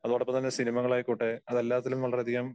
അതോടൊപ്പം തന്നെ സിനിമകൾ ആയിക്കോട്ടെ അത് എല്ലാത്തിലും വളരെ അധികം